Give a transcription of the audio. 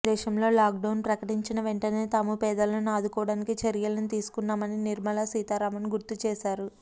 దేశంలో లాక్డౌన్ ప్రకటించిన వెంటనే తాము పేదలను ఆదుకోవడానికి చర్యలను తీసుకున్నామని నిర్మలా సీతారామన్ గుర్తు చేశారు